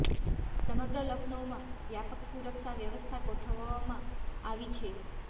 સમગ્ર લખનૌમાં વ્યાપક સુરક્ષા વ્યવસ્થા ગોઠવવામાં આવી છે